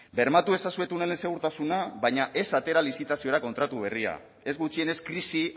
bermatu ezazue tunelen segurtasuna baina ez atera lizitaziora kontratu berria ez gutxienez krisi